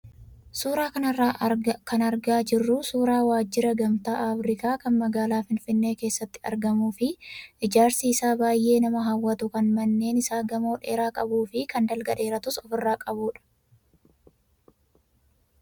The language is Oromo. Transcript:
Suuraa kanarraa kan argaa jirru suuraa waajjira gamtaa Afrikaa kan magaalaa Finfinnee keessatti argamuu fi ijaarsi isaa baay'ee nama hawwatu kan manneen isaa gamoo dheeraa qabuu fi kan dalga dheeratus ofirraa qabudha.